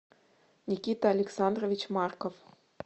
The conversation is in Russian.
никита александрович марков